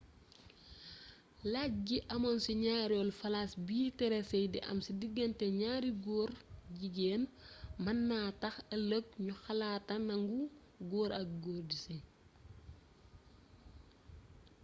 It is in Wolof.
lajj gi amoon ci ñaareelu phrase biy tere séy di am ci diggante ñaari góor-jigéen mën na tax ëlëg ñu xalaat a nangu góor ak góor di séy